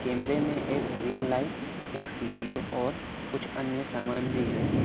कैमरे में एक रिंग लाइट एक सी_पी_यू और कुछ अन्य सामान भी है।